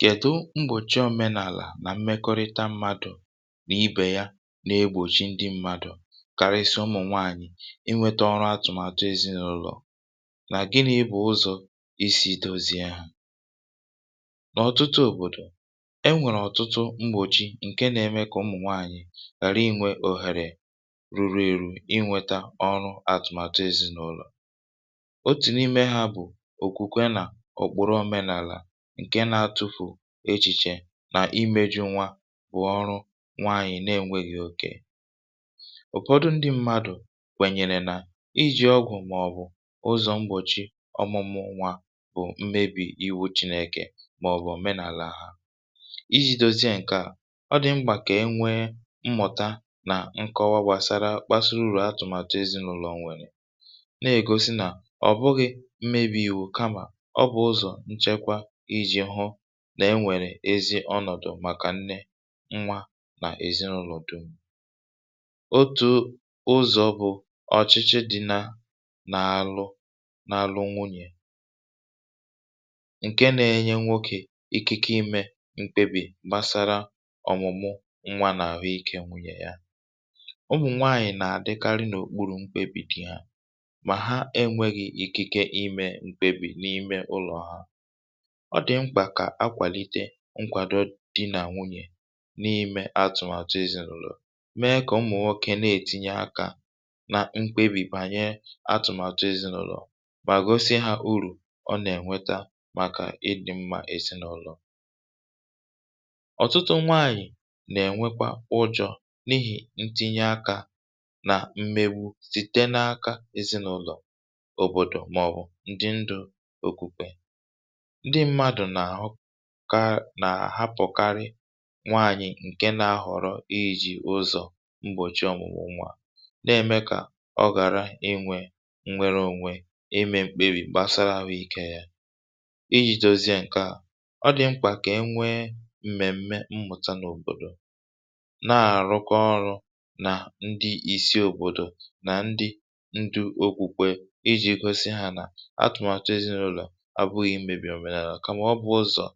kèdu mgbòchi òmenàlà nà mmekọrịta mmadụ̀ nà ibè ya na-egbòtchi ndị m̄mādụ̀ karịsịa ụmụ̀ nwaànyị̀ inwētā ọrụ atụ̀màtụ èzinụ̄lọ̀ nà gịnị̄ bụ̀ ụzọ̀ isī dozi ya n’ọ̀tụtụ òbòdò enwèrè ọ̀tụtụ mgbòchi ǹke nā-ēmē kà ụmụ̀ nwaànyị̀ ghàra inwē òhèrè rurū ērū inwētā ọrụ atụ̀màtụ èzinụ̄lọ̀ òtu n’ime hā bụ̀ òkwùkwe nà ọ̀kpụ̀rụ òmenàlà ǹke nā-atụ̄fù echìchè nà imējū nwa bụ̀ ọrụ nwaànyị̀ na-enwēghī òkè ụ̀fọdụ ndị m̄mādụ̀ kwènyèrè nà ijì ọgwụ̀ màọ̀bụ̀ ụzọ̀ mgbòchi ọ̀mụmụ nwā bụ̀ mmebì iwu chīnēkè màọ̀bụ̀ òmenalà ijī dozie ǹke à ọ dị̀ mkpà kà enwe mmụ̀ta nà nkọwa gbàsara mkpasị urù atụ̀màtụ èzinụ̄lọ̀ nwèrè nà-ègosi nà ọ̀ bụghị̄ mmebī īwū kamà ọ bụ̀ uzọ̀ nchekwa ijī hụ̄ na-enwèrè ezi ọnọ̀dụ̀ màkà nne, nwa nà èzinụ̄lò du otù ụzọ̄ bụ̄ ọ̀chịchị dị̄ nā n’alụ n’alụ nwunyè ǹke nā-ēnyē nwokē ikike imē mkpebì gbasara ọ̀mụ̀mụ nwā nà àhụ ikē nwùnye yà ụmụ̀ nwaānyị̄ nà-àdịkarị n’òkpurù mkpebì di hā mà ha enwēghī ikike imē mkpebì n’ime ụlọ̀ ha ọ dị̀ mkpà kà akwàlite nkwàdo di nà nwunyè na-ime atụ̀màtụ èzinụ̄lọ̀ mee kà ụmụ̀ nwokē na-ètinye akā na mkpebì gbanyere atụ̀màtụ èzinụ̄lọ̀ ha mà gosi hā urù ọ nà-ènweta màkà ịdịm̄mā èzinụ̄lọ̀ ọ̀tụtụ nwaànyị̀ nà-ènwekwa ụjọ̄ n’ihì ntinye akā nà mmewu site n’aka èzinụ̄lọ̀, òbòdò màọ̀bụ̀ ndị ndụ̄ òkwùkwe ndị m̄mādụ̀ nà-àhụka nà-àhapụ̀karị nwaànyị̀ ǹke nā-āhọ̀rọ ijī ụzọ̀ mgbòchi ọ̀mụ̀mụ̀ nwā na-ème kà ọ ghàra inwē nwereōnwē ime mkpebì gbàsara àhụ ikē yā ijī dozie ǹke à ọ dị̀ mkpà kà enwe m̀mèm̀me mmụ̀ta n’òbòdò na-àrụkọ ọrụ̄ nà ndị isi òbòdò nà ndị ndụ̄ òkwùkwè ijī gosi hā nà atụ̀màtụ èzinụ̄lọ̀ abụ̄ghị̄ mmebì òmenàlà kamà ọ bụ̀ ụzọ̀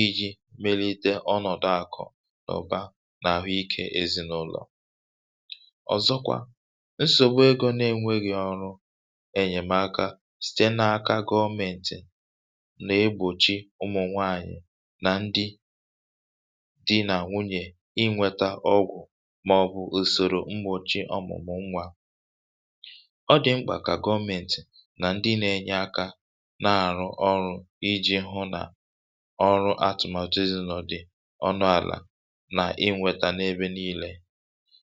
ijī melite ọnọ̀dụ àkụ̀ nà ụ̀ba nà àhụ ikē èzinụ̄lọ̀ ọ̀zọkwa nsògbu egō na-enwēghī ọrụ ènyèmaka site n’aka gọmēntị̀ na-egbòchi ụmụ̀ nwaànyị̀ nà ndị di nà nwunyè inwētā ọgwụ̀ màọ̀bụ̀ ùsòrò mgbòchi ọ̀mụ̀mụ̀ nwā ọ dị̀ mkpà kà gọmēntị̀ nà ndị nā-ēnyē akā na-àrụ ọrụ̄ ijī hụ nà ọrụ atụ̀màtụ èzinụ̄lọ̀ dị̀ ọnụàlà nà inwētā n’ebe niīlē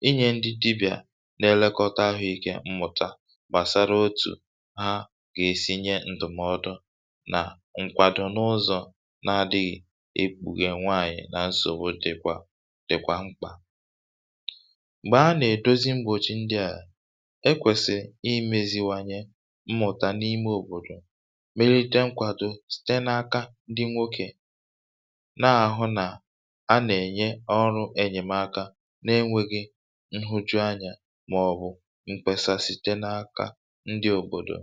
inyē ndị dibịà na-elekọta ahụ̀ ikē mmụ̀ta gbàsara otù ha gà-èsi nye ǹdụ̀mọdụ nà nkwado n’ụzọ̀ na-adị̄ghị̄ ekpùghè nwaànyị̀ na nsògbu dị̀kwà dị̀kwà mkpà m̀gbè a nà-èdozi mgbòchi ndị à ekwèsìrì imēzīwānyē mmụ̀ta n’ime òbòdò melite nkwàdo site n’aka ndị nwokē na-àhụ nà a nà-ènye ọrụ̄ ènyèmaka na-enwēghī nhụjuanyā màọ̀bụ̀ mkpesa site n’aka ndị òbòdò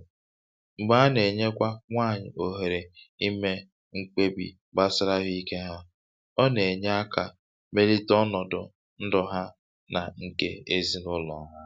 m̀gbè a nà-ènyekwa nwaànyị̀ òhèrè imē mkpebì gbasara àhụ ikē hā ọ nà-ènye akā melite ọnọ̀dụ̀ ndụ̀ ha nà ǹkè èzinụ̄lọ̀ ha